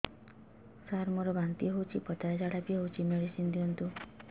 ସାର ମୋର ବାନ୍ତି ହଉଚି ପତଲା ଝାଡା ବି ହଉଚି ମେଡିସିନ ଦିଅନ୍ତୁ